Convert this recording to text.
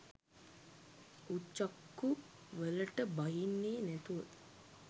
හුචක්කුවලට බහින්නෙ නැතුව